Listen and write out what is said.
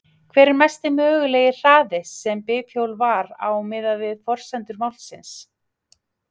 Hver er mesti mögulegi hraði sem bifhjólið var á miðað við forsendur málsins?